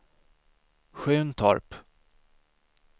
Sjuntorp